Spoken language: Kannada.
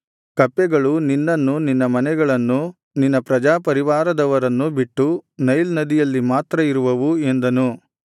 ಕಪ್ಪೆಗಳು ನಿನ್ನನ್ನೂ ನಿನ್ನ ಮನೆಗಳನ್ನೂ ನಿನ್ನ ಪ್ರಜಾಪರಿವಾರದವರನ್ನೂ ಬಿಟ್ಟು ನೈಲ್ ನದಿಯಲ್ಲಿ ಮಾತ್ರ ಇರುವವು ಎಂದನು